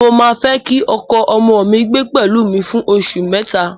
Mo máa fẹ́ kí ọkọ ọmọ mi gbé pẹ̀lú mi fún oṣù mẹ́ta